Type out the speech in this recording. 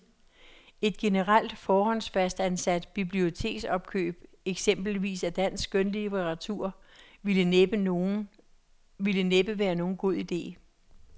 Et generelt, forhåndsfastsat biblioteksopkøb, eksempelvis af dansk skønlitteratur, ville næppe være nogen god ide.